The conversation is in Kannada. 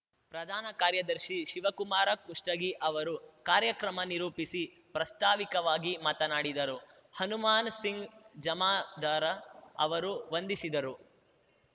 ಪ್ರಧಾನ ಕಾರ್ಯದರ್ಶಿ ಶಿವಕುಮಾರ ಕುಷ್ಟಗಿ ಅವರು ಕಾರ್ಯಕ್ರಮ ನಿರೂಪಿಸಿ ಪ್ರಾಸ್ತಾವಿಕವಾಗಿ ಮಾತನಾಡಿದರು ಹನುಮಾನಸಿಂಗ್ ಜಮಾದಾರ ಅವರು ವಂದಿಸಿದರು